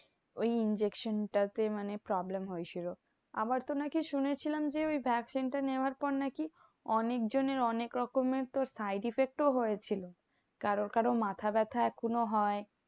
ওই injection টা তে মানে problem হয়েছিল। আবার তো নাকি শুনেছিলাম যে, ওই vaccine টা নেওয়ার পর নাকি, অনেক জনের অনেক রকমের তোর side effect ও হয়েছিল। কারো কারো মাথা ব্যথা এখনো হয়।